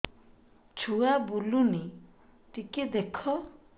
ଛୁଆ ବୁଲୁନି ଟିକେ ଦେଖ